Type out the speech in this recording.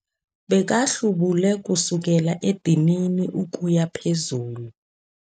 Bekahlubule kusukela edinini ukuya phezulu.